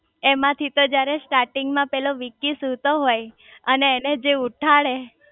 એમાં થી તો જયારે સ્ટાટિન્ગ માં પેલો વિકી સૂતો હોય અને એને જે ઉઠાડે